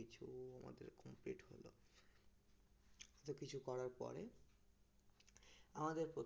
সব কিছু করার পরে আমাদের